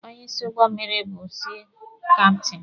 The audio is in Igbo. Onye isi ụgbọ mmịrị bụ sii kaptini.